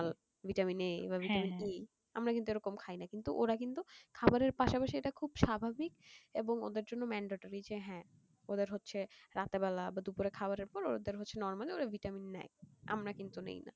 vitamin-A বা vitamin-B আমরা কিন্তু এরকম খাইন ওরা কিন্তু খাবারের পাশাপাশি ইটা খুব স্বাভাবিক এবং ওদের জন্য mandatory যে হ্যাঁ ওদের হচ্ছে রাত্রের বেলা বা দুপুরে খাবারের পর ওরা normal vitamin নেয় আমরা কিন্তু নিনা